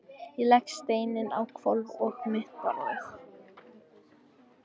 Ég legg steininn á hvolf á mitt borðið.